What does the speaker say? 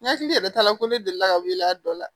N hakili yɛrɛ ta la ko ne delila ka wuli a dɔ la